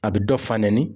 A bɛ dɔ fa nɛni